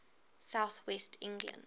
south west england